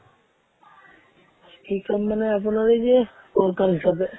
কি কাম মানে আপোনাৰ এই যে worker হিচাপে